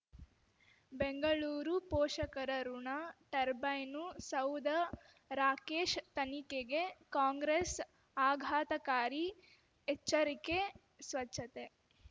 ಬೆಂಗಳೂರು ಪೋಷಕರಋಣ ಟರ್ಬೈನು ಸೌಧ ರಾಕೇಶ್ ತನಿಖೆಗೆ ಕಾಂಗ್ರೆಸ್ ಆಘಾತಕಾರಿ ಎಚ್ಚರಿಕೆ ಸ್ವಚ್ಛತೆ